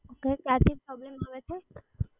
આપને ક્યારથી પ્રોબ્લેમ આવે છે?